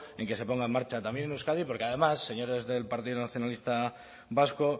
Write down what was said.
en que se ponga en marcha también en euskadi porque además señores del partido nacionalista vasco